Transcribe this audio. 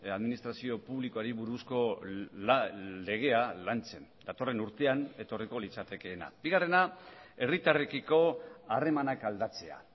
administrazio publikoari buruzko legea lantzen datorren urtean etorriko litzatekeena bigarrena herritarrekiko harremanak aldatzea